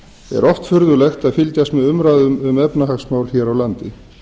er oft furðulegt að fylgjast með umræðum um efnahagsmál hér á landi